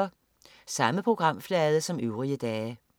Samme programflade som øvrige dage